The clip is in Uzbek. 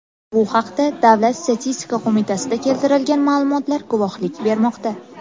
Bu haqda Davlat statistika qo‘mitasida keltirilgan ma’lumotlar guvohlik bermoqda .